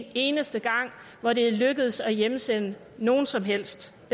eneste gang hvor det er lykkedes at hjemsende nogen som helst